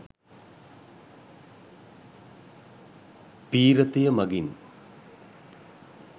පී්‍රතිය මගින්